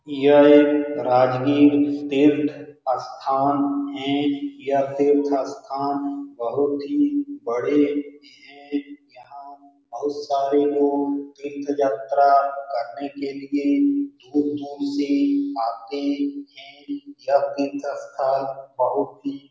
यह राजगीर तीर्थ स्थान है यह तीर्थ स्थान बहुत ही बड़े हैं यहां बहुत सारे लोग तीर्थ यात्रा करने दूर-दूर से आते हैं यह तीर्थ स्थान बहुत ही